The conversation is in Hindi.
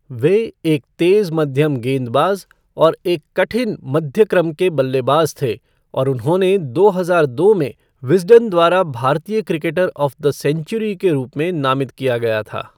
वह एक तेज मध्यम गेंदबाज और एक कठिन मध्य क्रम के बल्लेबाज थे और उन्हें दो हज़ार दो में विज़डन द्वारा भारतीय क्रिकेटर ऑफ़ द सेंचुरी के रूप में नामित किया गया था।